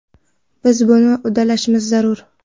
Biz buni uddalashimiz zarur.